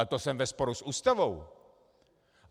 Ale to jsem ve sporu s Ústavou.